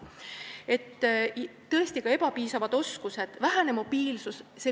Tõesti, inimestel on ka ebapiisavad oskused ja vähene mobiilsus.